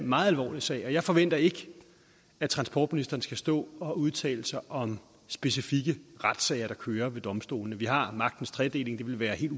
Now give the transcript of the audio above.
meget alvorlig sag og jeg forventer ikke at transportministeren skal stå og udtale sig om specifikke retssager der kører ved domstolene vi har magtens tredeling det ville være helt